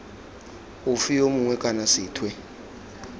ofe yo mongwe kana sethwe